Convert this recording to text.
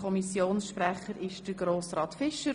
Kommissionssprecher ist Grossrat Fischer.